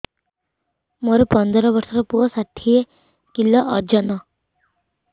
ମୋର ପନ୍ଦର ଵର୍ଷର ପୁଅ ଟା ଷାଠିଏ କିଲୋ ଅଜନ